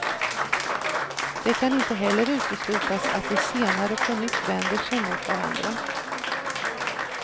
Det kan inte heller uteslutas att de senare på nytt vänder sig mot varandra.